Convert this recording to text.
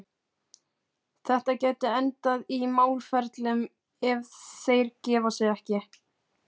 Þetta gæti endað í málaferlum, ef þeir gefa sig ekki.